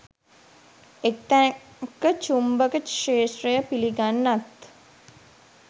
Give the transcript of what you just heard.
එක් තැනක චුම්බක ක්ෂේත්‍රය පිළිගන්නත්